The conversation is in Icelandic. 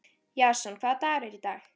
Jason, hvaða dagur er í dag?